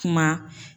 Kuma